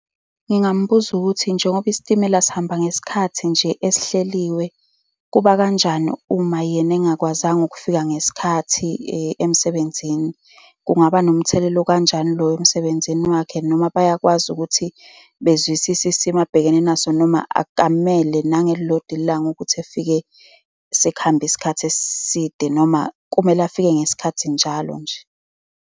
Ngingambuza ukuthi, njengoba isitimela sihamba ngesikhathi nje, esihleliwe, kuba kanjani uma yena engingakwazanga ukufika ngesikhathi emsebenzini. Kungaba nomthelela okanjani loyo emsebenzini wakhe? Noma bayakwazi ukuthi bezwisise isimo abhekene naso noma akamele nangelilodwa ilanga ukuthi efike sekuhambe isikhathi eside, noma kumele afike ngesikhathi njalo nje.